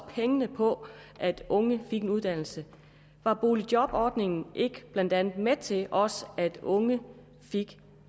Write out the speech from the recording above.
pengene på at unge får en uddannelse var boligjobordningen ikke blandt andet med til at også unge fik